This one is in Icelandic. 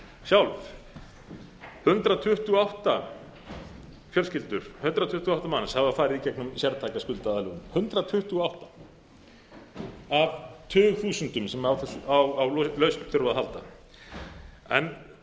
sjálf að hundrað tuttugu og átta manns hafa farið í gegnum sértæka skuldaaðlögun hundrað tuttugu og átta af tugþúsundum sem á lausn þurfa að halda þetta var alveg